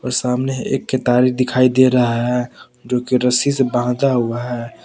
सामने एक केतारी दिखाई दे रहा है जो की रस्सी से बांधा हुआ है।